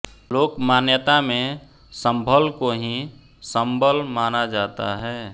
लोक मान्यता में सम्भल को ही शंबल माना जाता है